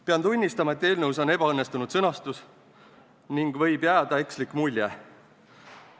Pean tunnistama, et eelnõus on ebaõnnestunud sõnastust ning sellest võib jääda ekslik mulje.